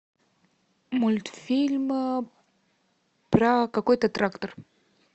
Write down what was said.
мультфильм про какой то трактор